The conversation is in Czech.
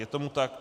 Je tomu tak.